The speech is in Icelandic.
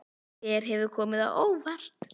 Hver hefur komið á óvart?